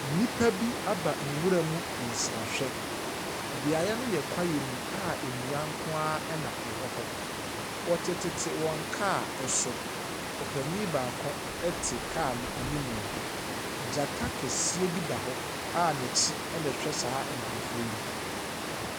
Nnipa bi aba nwura mu nsrahwɛ. Beaeɛ no yɛ kwaeɛ mu a nnua nko ara na ɛwɔ hɔ. Wɔtete tete wɔn car so. Ɔpanin baako te car no animu. Gyata kɛseɛ bi da hɔ a n'akyi na ɛhwɛ saa nkurɔfoɔ yi.